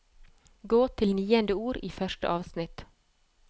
Gå til niende ord i første avsnitt